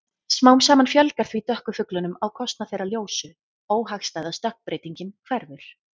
Smám saman fjölgar því dökku fuglunum á kostnað þeirra ljósu- óhagstæða stökkbreytingin hverfur.